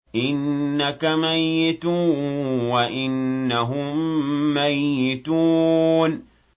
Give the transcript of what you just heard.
إِنَّكَ مَيِّتٌ وَإِنَّهُم مَّيِّتُونَ